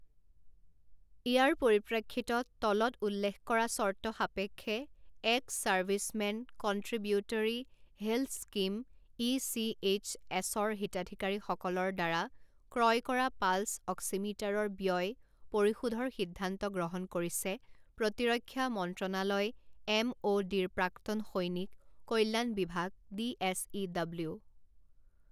ইয়াৰ পৰিপ্ৰেক্ষিতত তলত উল্লেখ কৰা চৰ্ত সাপেক্ষে ex servicemen contributory health scheme E C H S ৰ হিতাধিকাৰীসকলৰদ্বাৰা ক্ৰয় কৰা পালছ অক্সিমিটাৰৰ ব্যয় পৰিশোধৰ সিদ্ধান্ত গ্ৰহণ কৰিছে প্ৰতিৰক্ষা মন্ত্ৰণালয় এম অ' ডি ৰ প্ৰাক্তন সৈনিক কল্যাণ বিভাগ ডি এছ ই ডব্লিউ